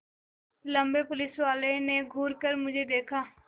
लम्बे पुलिसवाले ने घूर कर मुझे देखा